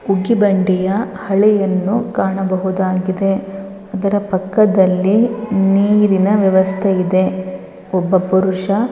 ಉಗ್ಗಿ ಬಂಡಿಯ ಹಳೆಯನ್ನು ಕಾಣಬಹುದಾಗಿದೆ. ಅದರ ಪಕ್ಕದಲ್ಲಿ ನೀರಿನ ವ್ಯವಸ್ಥೆ ಇದೆ. ಒಬ್ಬ ಪುರುಷ--